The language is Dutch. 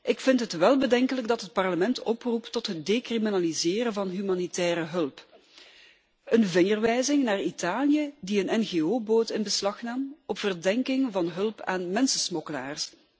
Ik vind het wel bedenkelijk dat het Parlement oproept tot het decriminaliseren van humanitaire hulp, een vingerwijzing naar Italië, die een ngo boot in beslag nam op verdenking van hulp aan mensensmokkelaars.